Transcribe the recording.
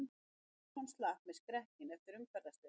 Anderson slapp með skrekkinn eftir umferðarslys